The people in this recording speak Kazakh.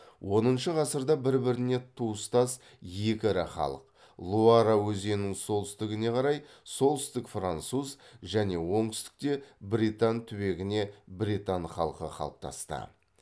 оныншы ғасырда бір біріне туыстас екі ірі халық луара өзінінің солтүстігіне қарай солтүстік француз және оңтүстікте бретань түбегіне бретань халқы қалыптасты